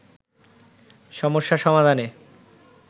সমস্যা সমাধানে